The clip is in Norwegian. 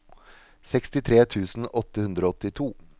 sekstitre tusen åtte hundre og åttito